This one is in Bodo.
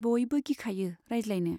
बयबो गिखायो रायज्लायनो।